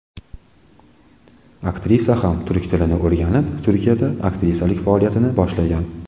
Aktrisa ham turk tilini o‘rganib, Turkiyada aktrisalik faoliyatini boshlagan.